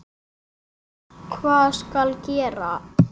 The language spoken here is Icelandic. Svo hvað skal gera?